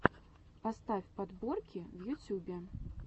поставь подборки в ютюбе